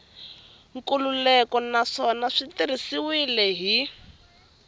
nkhulukelano naswona swi tirhisiwile hi